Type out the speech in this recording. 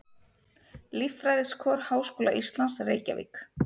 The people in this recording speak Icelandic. Líffræðiskor Háskóla Íslands, Reykjavík.